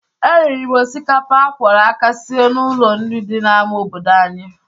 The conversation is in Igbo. E riri m osikapa a kwọrọ aka sie n'ụlọ nri dị n'ama obodo anyị.